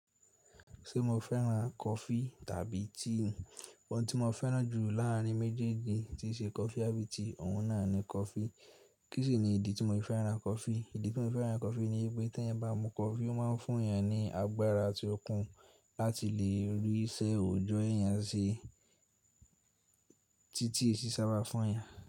Ṣé mo fẹ́ran kọfí tàbí tíì? Òun tí mo fẹ́ran jù láàrin méjèèjì tí í ṣe kọfí àbí tiì, ọ̀un náà ni kọfí. Kíṣini ní ìdí tí mo fi fẹ́ran kọfí? Ìdí tí mo fẹ́ran kọfí ni wípé tí ẹ̀eyan bá mu kọfí, ó má ń fún èèyàn ní agbára àti okun láti lè rí iṣẹ́ òjọ́ èèyàn ṣe tí tíi è sì sábà fún èèyàn.